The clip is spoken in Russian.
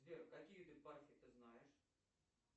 сбер какие ты знаешь